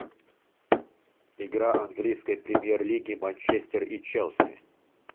игра английской премьер лиги манчестер и челси